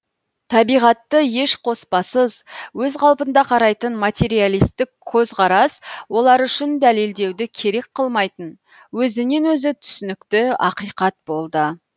табиғатты еш қоспасыз өз қалпында қарайтын материалисттік көзқарас олар үшін дәлелдеуді керек қылмайтын өзінен өзі түсінікті ақиқат болды